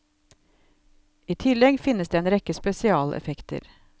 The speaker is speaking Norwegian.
I tillegg finnes det en rekke spesialeffekter.